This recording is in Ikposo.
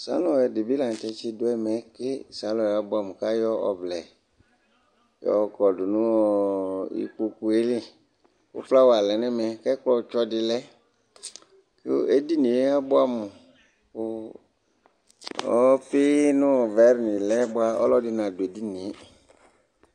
salɔn ɛdi bi lantɛ tsi do ɛmɛ bi ke salɔn yɛ aboɛ amo k'ayɔ ɔvlɛ yɔ kɔdu no ikpoku yɛ li kò flawa lɛ n'ɛmɛ k'ɛkplɔ tsɔ di lɛ k'edini yɛ aboɛ amò kò ɔfi no vɛ ni lɛ boa ɔlò ɛdi na du edini yɛ